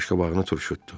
Qaşqabağını turşutdu.